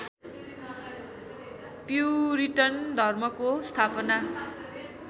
puritan धर्मको स्थापना